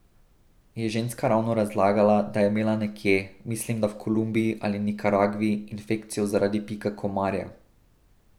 Je ženska ravno razlagala, da je imela nekje, mislim da v Kolumbiji ali Nikaragvi, infekcijo zaradi pika komarja.